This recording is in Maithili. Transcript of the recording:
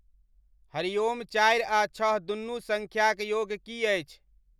हरिओम चारि आ छह दुनू संख्याक योग की अछि